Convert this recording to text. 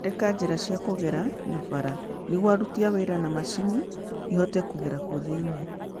Thondeka njĩra cia kũgerera na bara nĩguo aruti a wĩra na mashini ihote kũgera kuo thĩinĩ